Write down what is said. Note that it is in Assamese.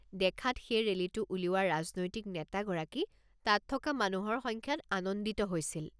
দেখাত সেই ৰেলীটো উলিওৱা ৰাজনৈতিক নেতাগৰাকী তাত থকা মানুহৰ সংখ্যাত আনন্দিত হৈছিল।